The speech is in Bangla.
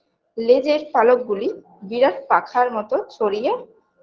লেজের পালক গুলি বিরাট পাখার মতো ছড়িয়ে